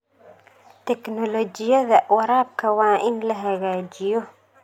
Tignoolajiyada waraabka waa in la hagaajiyo.